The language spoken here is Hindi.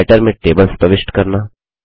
राइटर में टेबल्स प्रविष्ट करना